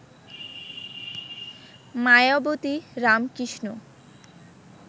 Mayawati Ramakrishna